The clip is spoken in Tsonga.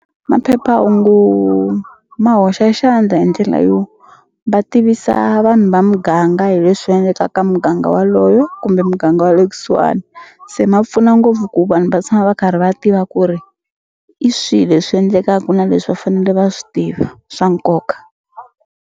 Maphephahungu ma hoxa xandla hi ndlela yo va tivisa vanhu va muganga hi leswi endleka ka muganga waloyo kumbe muganga wa le kusuhani se ma pfuna ngopfu ku vanhu va tshama va karhi va tiva ku ri i swi leswi endlekaku na leswi va fanele va swi tiva swa nkoka.